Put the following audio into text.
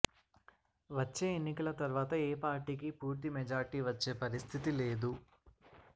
వచ్చే ఎన్నికల తర్వాత ఏ పార్టీకి పూర్తి మెజార్టీ వచ్చే పరిస్థితి లేదు